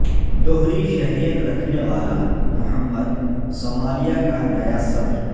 دوہری شہریت رکھنے والا محمد صومالیہ کا نیا صدر